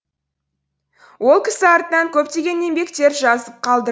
ол кісі артынан көптеген еңбектер жазып қалдырды